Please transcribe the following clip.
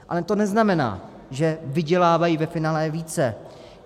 Ale to neznamená, že vydělávají ve finále více.